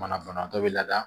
Manabanatɔ bɛ laada